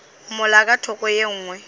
mola ka thoko ye nngwe